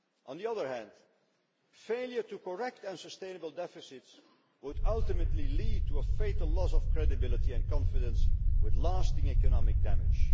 On the other hand, failure to correct unsustainable deficits would ultimately lead to a fatal loss of credibility and confidence with lasting economic damage.